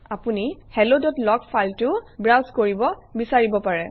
আপুনি helloলগ ফাইলটোও ব্ৰাউজ কৰিব বিচাৰিব পাৰে